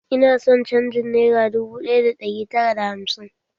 Ina son canjin nera dubu ɗaya da ɗari tara da hamsin